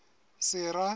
sera